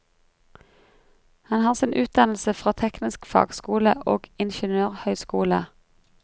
Han har sin utdannelse fra teknisk fagskole og ingeniørhøyskole.